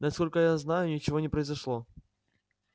насколько я знаю ничего не произошло